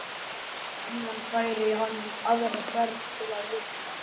Og síðan færi hann aðra ferð til að rukka.